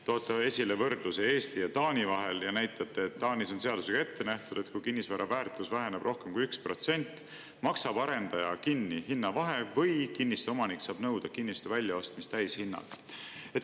Te toote esile võrdlusi Eesti ja Taani vahel ja näitate, et Taanis on seadusega ette nähtud, et kui kinnisvara väärtus väheneb rohkem kui 1%, maksab arendaja kinni hinnavahe või kinnistuomanik saab nõuda kinnistu väljaostmist täishinnaga.